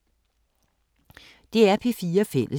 DR P4 Fælles